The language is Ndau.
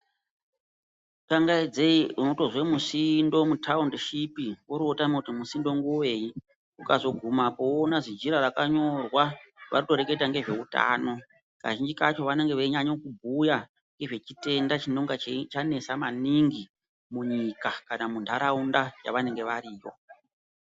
Kangaidzei unotozwa musindo mutaundi shipi oro votama kuti musindo ngevei. Ukazogumapo voona zinjira rakanyorwa vanotoreketa ngezveutano. Kazhinji kacho vanenge veinyanya kubhuya ngezvechitenda chinenge chanesa maningi munyika kana muntaraunda yavanenge variyo.